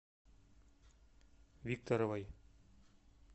викторовой